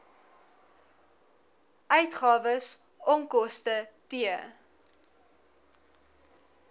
uitgawes onkoste t